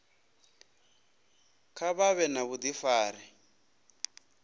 kha vha vhe na vhudifari